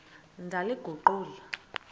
ndaliguqula